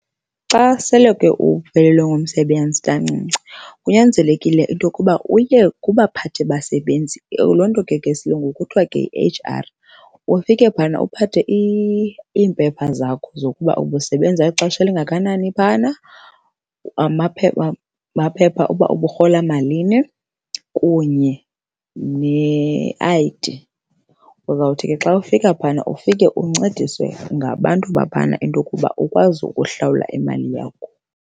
Xa sele ke uphelelwe ngumsebenzi kancinci kunyanzelekile into yokuba uye kubaphathi basebenzi. Loo nto ke ngesilungu kuthwa ke yi-H_R. Ufike phayana uphathe iimpepha zakho zokuba ubusebenza ixesha elingakanani phayana, amaphepha okuba uburhola malini kunye ne-I_D. Uzawuthi ke xa ufika phayana ufike uncediswe ngabantu baphayana into yokuba ukwazi ukuhlawula imali yakho.